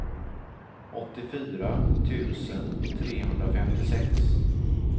åttiofyra tusen trehundrafemtiosex